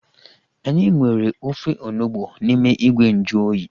Anyị nwere ofe onugbu n'ime ìgwè nju oyi